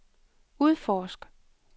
udforsk